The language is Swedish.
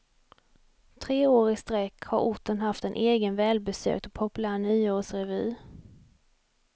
Tre år i sträck har orten haft en egen välbesökt och populär nyårsrevy.